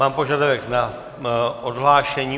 Mám požadavek na odhlášení.